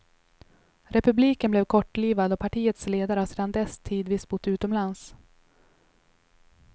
Republiken blev kortlivad och partiets ledare har sedan dess tidvis bott utomlands.